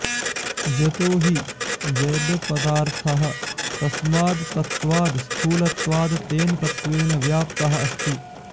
यतो हि जडपदार्थः तस्माद् तत्त्वाद् स्थूलत्वाद् तेन तत्त्वेन व्याप्तः अस्ति